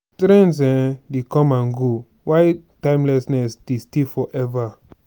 trends um dey come and go while timelessness dey stay forever.